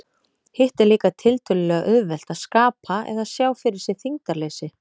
Hitt er líka tiltölulega auðvelt, að skapa eða sjá fyrir sér þyngdarleysi.